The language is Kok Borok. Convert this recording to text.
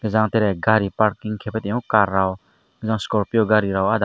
jang tere gari park hingkepe tongo car rok jang scorpion gari rok ahda.